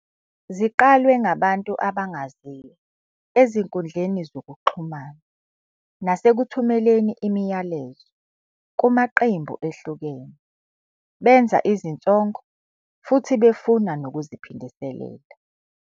Ziqalwe ngabantu abangaziwa ezinkundleni zokuxhumana nasekuthumeleni imiyalezo kumaqembu ehlukene benza izinsongo futhi befuna nokuziphindiselela.